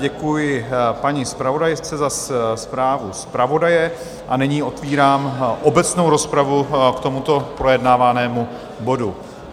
Děkuji paní zpravodajce za zprávu zpravodaje a nyní otevírám obecnou rozpravu k tomuto projednávanému bodu.